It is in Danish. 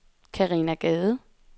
Karina Gade